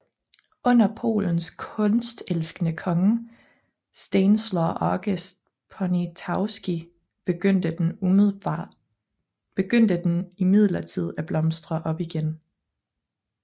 Under Polens kunstelskende konge Stanisław August Poniatowski begyndte den imidlertid at blomstre op igen